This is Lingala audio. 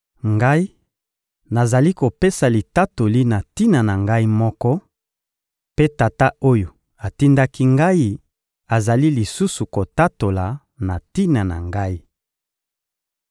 Ngai, nazali kopesa litatoli na tina na Ngai moko, mpe Tata oyo atindaki Ngai azali lisusu kotatola na tina na Ngai.